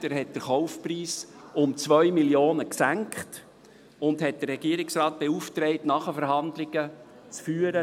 Er senkte den Kaufpreis um 2 Mio. Franken und beauftragte den Regierungsrat, nachher mit der SBB Nachverhandlungen zu führen.